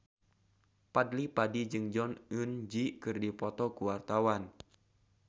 Fadly Padi jeung Jong Eun Ji keur dipoto ku wartawan